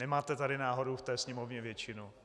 Nemáte tady náhodou v té Sněmovně většinu?